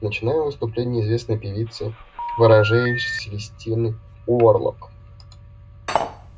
начинаем выступление известной певицы ворожеи селестины уорлок